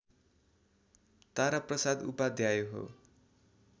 तारा प्रसाद उपाध्याय हो